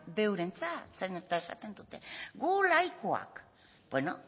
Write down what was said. de eurentzat zeren eta esaten dute gu laikoak bueno